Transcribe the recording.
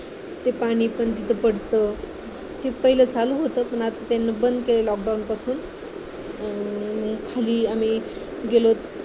ते पाणी पण तिथे पडत तिथे पाहिलं चालू होतं पण आता त्यांनी बंद केलंय lockdown पासून खाली आम्ही गेलोत